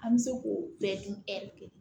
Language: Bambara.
An bɛ se k'o bɛɛ dun